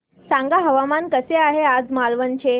सांगा हवामान कसे आहे आज मालवण चे